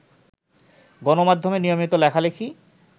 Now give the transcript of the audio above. গণমাধ্যমে নিয়মিত লেখালেখি